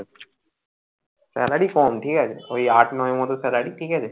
Salary কম ঠিক আছে ওই আট নয় এর মত salary ঠিক আছে